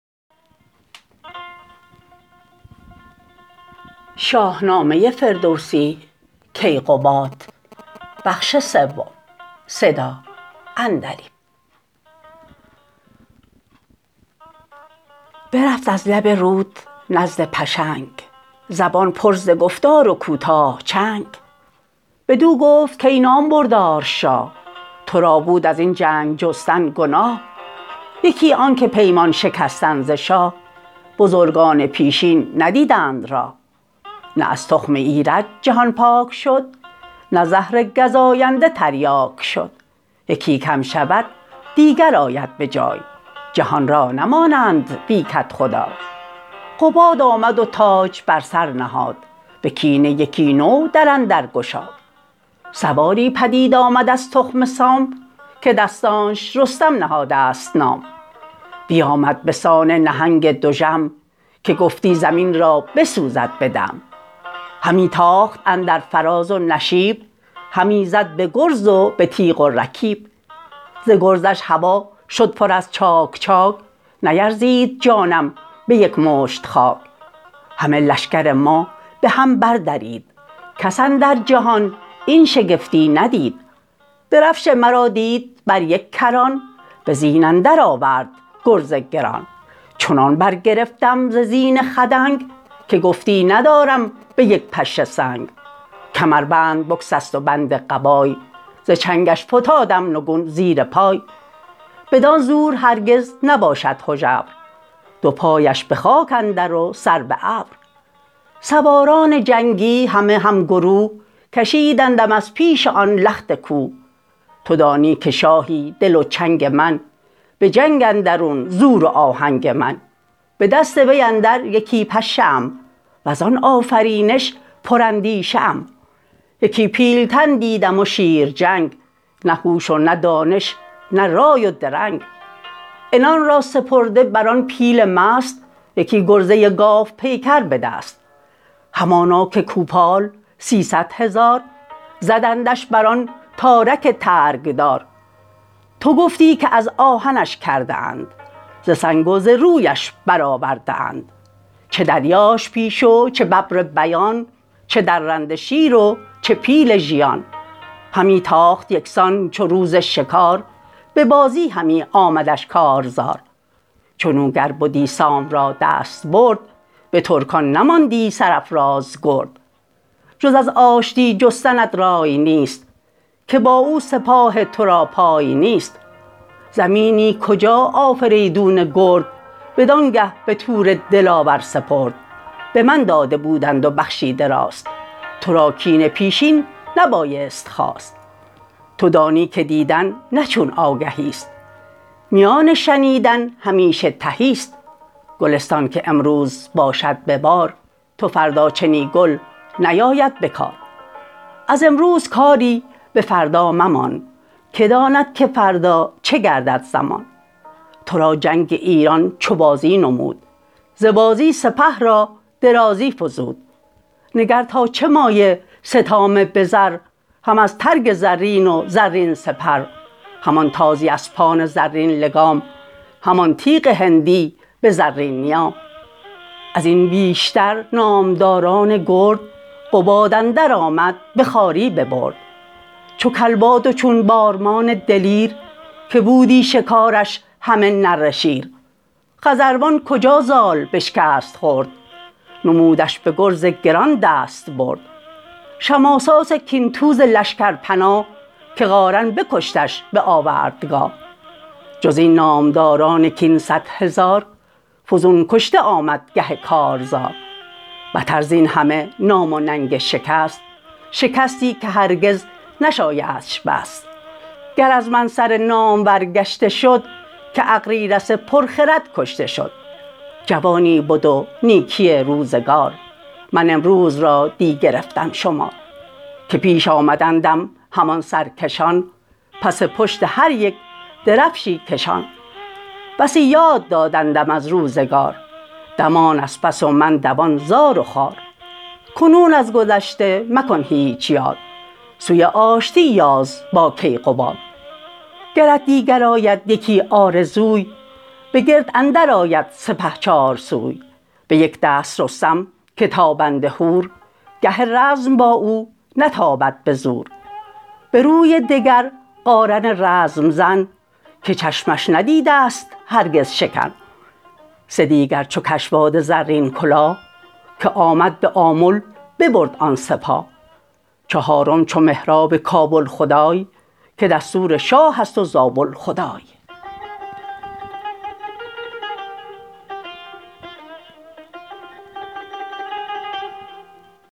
برفت از لب رود نزد پشنگ زبان پر ز گفتار و کوتاه چنگ بدو گفت کای نامبردار شاه ترا بود ازین جنگ جستن گناه یکی آنکه پیمان شکستن ز شاه بزرگان پیشین ندیدند راه نه از تخم ایرج جهان پاک شد نه زهر گزاینده تریاک شد یکی کم شود دیگر آید به جای جهان را نمانند بی کدخدای قباد آمد و تاج بر سر نهاد به کینه یکی نو در اندر گشاد سواری پدید آمد از تخم سام که دستانش رستم نهاده ست نام بیامد بسان نهنگ دژم که گفتی زمین را بسوزد به دم همی تاخت اندر فراز و نشیب همی زد به گرز و به تیغ و رکیب ز گرزش هوا شد پر از چاک چاک نیرزید جانم به یک مشت خاک همه لشکر ما به هم بردرید کس اندر جهان این شگفتی ندید درفش مرا دید بر یک کران به زین اندر آورد گرز گران چنان برگرفتم ز زین خدنگ که گفتی ندارم به یک پشه سنگ کمربند بگسست و بند قبای ز چنگش فتادم نگون زیر پای بدان زور هرگز نباشد هژبر دو پایش به خاک اندر و سر به ابر سواران جنگی همه همگروه کشیدندم از پیش آن لخت کوه تو دانی که شاهی دل و چنگ من به جنگ اندرون زور و آهنگ من به دست وی اندر یکی پشه ام وزان آفرینش پر اندیشه ام یکی پیلتن دیدم و شیرچنگ نه هوش و نه دانش نه رای و درنگ عنان را سپرده بران پیل مست یکی گرزه گاو پیکر بدست همانا که کوپال سیصدهزار زدندش بران تارک ترگ دار تو گفتی که از آهنش کرده اند ز سنگ و ز رویش برآورده اند چه دریاش پیش و چه ببر بیان چه درنده شیر و چه پیل ژیان همی تاخت یکسان چو روز شکار به بازی همی آمدش کارزار چنو گر بدی سام را دستبرد به ترکان نماندی سرافراز گرد جز از آشتی جستنت رای نیست که با او سپاه ترا پای نیست زمینی کجا آفریدون گرد بدانگه به تور دلاور سپرد به من داده بودند و بخشیده راست ترا کین پیشین نبایست خواست تو دانی که دیدن نه چون آگهیست میان شنیدن همیشه تهیست گلستان که امروز باشد ببار تو فردا چنی گل نیاید بکار از امروز کاری بفردا ممان که داند که فردا چه گردد زمان ترا جنگ ایران چو بازی نمود ز بازی سپه را درازی فزود نگر تا چه مایه ستام بزر هم از ترگ زرین و زرین سپر همان تازی اسپان زرین لگام همان تیغ هندی به زرین نیام ازین بیشتر نامداران گرد قباد اندر آمد به خواری ببرد چو کلباد و چون بارمان دلیر که بودی شکارش همه نره شیر خزروان کجا زال بشکست خرد نمودش به گرز گران دستبرد شماساس کین توز لشکر پناه که قارن بکشتش به آوردگاه جزین نامدران کین صدهزار فزون کشته آمد گه کارزار بتر زین همه نام و ننگ شکست شکستی که هرگز نشایدش بست گر از من سر نامور گشته شد که اغریرث پرخرد کشته شد جوانی بد و نیکی روزگار من امروز را دی گرفتم شمار که پیش آمدندم همان سرکشان پس پشت هر یک درفشی کشان بسی یاد دادندم از روزگار دمان از پس و من دوان زار و خوار کنون از گذشته مکن هیچ یاد سوی آشتی یاز با کیقباد گرت دیگر آید یکی آرزوی به گرد اندر آید سپه چارسوی به یک دست رستم که تابنده هور گه رزم با او نتابد به زور به روی دگر قارن رزم زن که چشمش ندیده ست هرگز شکن سه دیگر چو کشواد زرین کلاه که آمد به آمل ببرد آن سپاه چهارم چو مهراب کابل خدای که دستور شاهست و زابل خدای